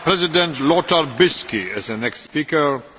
Herr Präsident, werte Kolleginnen und Kollegen!